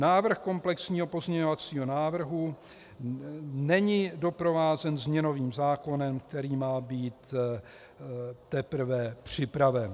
Návrh komplexního pozměňovacího návrhu není doprovázen změnovým zákonem, který má být teprve připraven.